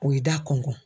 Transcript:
O ye da kɔn